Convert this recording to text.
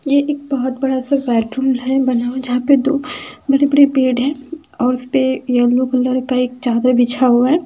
ये एक बहुत बड़ा सा बेडरूम है बना हुआ है जहा पे दो बड़े-बड़े बेड है और उस पे येलो कलर का चादर बिछा हुआ है ।